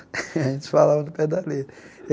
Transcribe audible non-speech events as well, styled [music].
[laughs] A gente falava no pé da